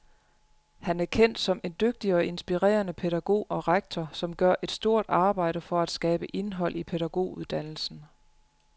Han er kendt som en dygtig og inspirerende pædagog og rektor, som gør et stort arbejde for at skabe indhold i pædagoguddannelsen.